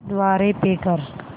द्वारे पे कर